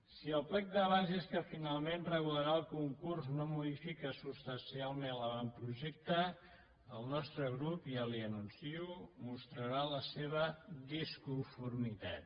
si el plec de bases que finalment regularà el concurs no modifica substancialment l’avantprojecte el nostre grup ja li ho anuncio mostrarà la seva disconformitat